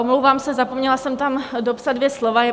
Omlouvám se, zapomněla jsem tam dopsat dvě slova.